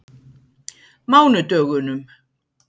mánudögunum